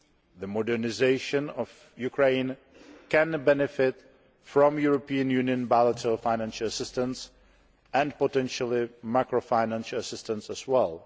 The modernisation of Ukraine can benefit from European Union bilateral financial assistance and, potentially, macro financial assistance as well.